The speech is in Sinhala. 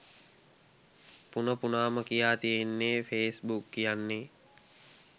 පුන පුනාම කියා තියෙන්නේ ෆේස්බුක් කියන්නේ